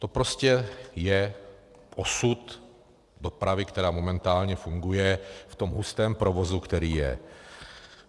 To prostě je osud dopravy, která momentálně funguje v tom hustém provozu, který je.